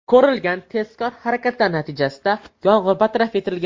Ko‘rilgan tezkor harakatlar natijasida yong‘in bartaraf etilgan.